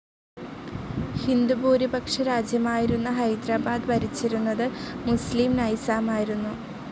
ഹിന്ദുഭൂരിപക്ഷ രാജ്യമായിരുന്ന ഹൈദരാബാദ് ഭരിച്ചിരുന്നത് മുസ്ലിം നൈസാമായിരുന്നു.